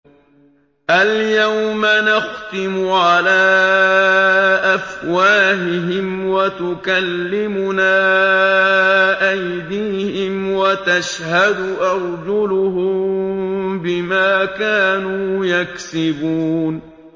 الْيَوْمَ نَخْتِمُ عَلَىٰ أَفْوَاهِهِمْ وَتُكَلِّمُنَا أَيْدِيهِمْ وَتَشْهَدُ أَرْجُلُهُم بِمَا كَانُوا يَكْسِبُونَ